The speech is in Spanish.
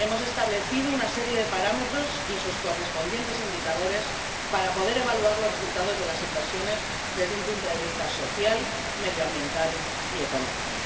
hemos establecido una serie de parámetros y sus correspondientes indicadores para poder evaluar los resultados de las inversiones desde un punto de vista social, medioambiental y económico.